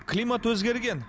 климат өзгерген